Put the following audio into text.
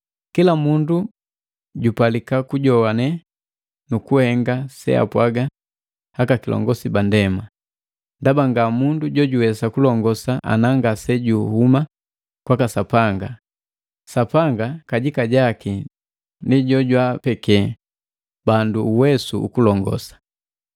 Kila mundu jupalika kujowane nukuhenga seapwaga akakilongosi ba ndema, ndaba nga mundu jojuwesa kulongosa ana ngase juhuma kwaka Sapanga, Sapanga kajika jaki ndi jojwaapeke bandu uwesu ukulongosa.